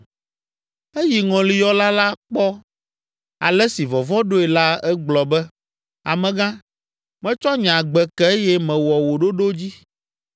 Esi ŋɔliyɔla la kpɔ ale si vɔvɔ̃ ɖoe la egblɔ be, “Amegã, metsɔ nye agbe ke eye mewɔ wò ɖoɖo dzi.